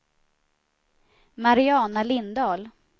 Mariana Lindahl